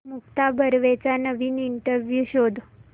मुक्ता बर्वेचा नवीन इंटरव्ह्यु शोध